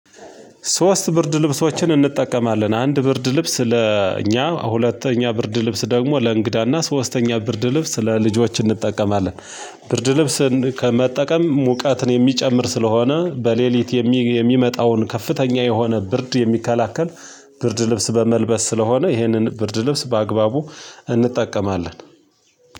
ሶስት ብርድ ልብሶችን እንጠቀማለን አንድ ብርድ ልብስ ለእኛ ሁለተኛ ብርድ ልብስ ደግሞ ለእንግዳና ሶስተኛ ብርድ ልብስ ለልጆች እንጠቀማለን። ብርድ ልብስን መጠቀም ሙቀትን የሚጨምር ስለሆነ በሌሊት የሚመጣውን ከፍተኛ የሆነ ብርድ የሚከላከል። ብርድ ልብስ በመልበስ ስለሆነ ይህንን ብርድ ልብስ በአግባቡ እንጠቀማለን።